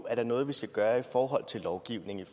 er noget vi skal gøre i forhold til lovgivningen